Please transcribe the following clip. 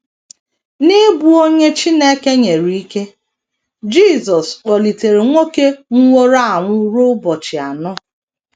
N’ịbụ onye Chineke nyere ike, Jisọs kpọlitere nwoke nwụworo anwụ ruo ụbọchị anọ.